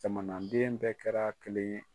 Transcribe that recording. Jamanaden bɛɛ kɛra kelen ye.